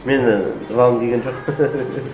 менің жылағым келген жоқ